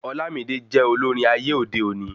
Olamide jẹ olórin ayé òde òni